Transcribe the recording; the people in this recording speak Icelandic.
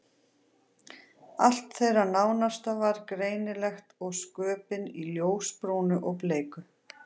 Allt þeirra nánasta var greinilegt og sköpin í ljósbrúnu og bleiku.